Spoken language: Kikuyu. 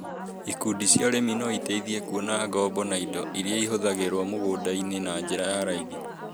Ikundi cia arĩmi no iteithĩrĩrie kuona ngombo na indo iria ihũthagĩrũo mũgũnda-inĩ na njĩra ya raĩthi